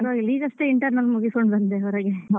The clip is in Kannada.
Exam ಎಲ್ಲ ಪರವಾಗಿಲ್ಲ ಈಗಷ್ಟೇ internal ಮುಗಿಸ್ಕೊಂಡು ಬಂದೆ ಹೊರಗೆ.